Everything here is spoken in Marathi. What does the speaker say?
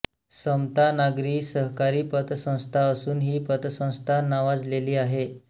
समता नागरी सहकारी पतसंस्था असून हि पतसंस्था नावाजलेली आहे